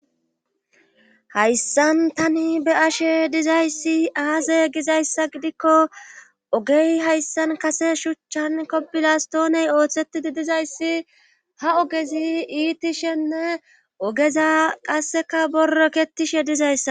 hayssan tani be ashe dizayssi aaze gizayssa gidikko ogey hayssan kase shuchchan kobilastooney ooththettidi dizayssi ha ogezi iitishenne ogeza qasseka borrokketishe dizayssa